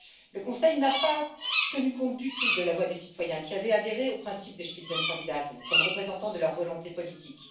Le Conseil n'a pas tenu compte du tout de la voix des citoyens qui avaient adhéré au principe des Spitzenkandidaten comme représentants de leur volonté politique.